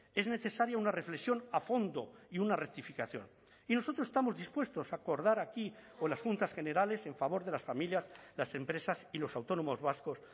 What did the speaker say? es necesaria una reflexión a fondo y una rectificación y nosotros estamos dispuestos a acordar aquí con las juntas generales en favor de las familias las empresas y los autónomos vascos